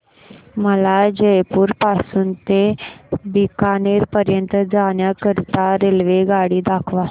मला जयपुर पासून ते बीकानेर पर्यंत जाण्या करीता रेल्वेगाडी दाखवा